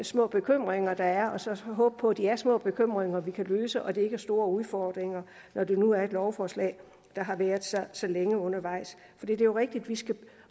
små bekymringer der er og så håbe på at de er små bekymringer vi kan løse og at det ikke er store udfordringer når det nu er et lovforslag der har været så længe undervejs det er jo rigtigt at vi skal